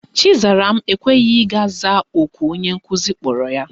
Chizaram ekweghi ị gaa zaa oku onye nkuzi kpọrọ ya.